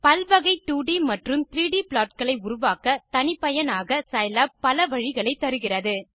பல் வகை 2ட் மற்றும் 3ட் ப்ளாட் களை உருவாக்க தனிப்பயனாக சைலாப் பல வழிகளை தருகிறது